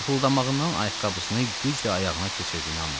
Ufuldanmağından ayaqqabısını güclə ayağına keçirdiyini anladım.